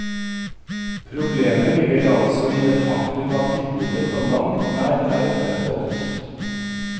Problemet ligger altså i det faktum at tilbudet på langt nær er opprettholdt.